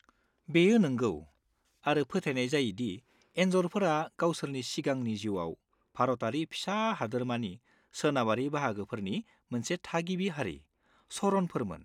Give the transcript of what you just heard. बेयो नोंगौ, आरो फोथायनाय जायो दि एन्जरफोरा गावसोरनि सिगांनि जिउआव, भारतारि फिसा हादोरमानि सोनाबारि बाहागोफोरनि मोनसे थागिबि हारि, चरणफोरमोन।